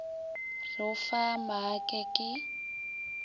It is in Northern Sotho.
re o fa maake ka